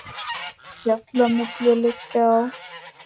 Fjalla milli liggja sá.